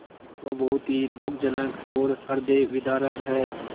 वह बहुत ही दुःखजनक और हृदयविदारक है